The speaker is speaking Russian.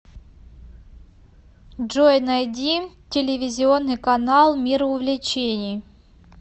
джой найди телевизионный канал мир увлечений